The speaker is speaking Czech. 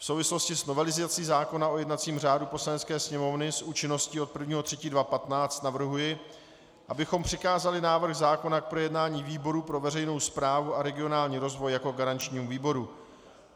V souvislosti s novelizací zákona o jednacím řádu Poslanecké sněmovny s účinností od 1. 3. 2015 navrhuji, abychom přikázali návrh zákona k projednání výboru pro veřejnou správu a regionální rozvoj jako garančnímu výboru.